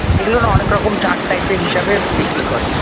এগুলো না অনেক রকম চার্ট type র হিসেবে বিক্রি করে।